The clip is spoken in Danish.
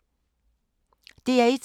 DR1